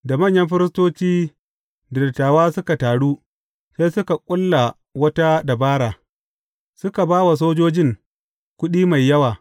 Da manyan firistoci da dattawa suka taru, sai suka ƙulla wata dabara, suka ba wa sojojin kuɗi mai yawa.